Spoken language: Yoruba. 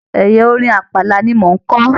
Ẹyà orin Àpàlà ni mo n kọ.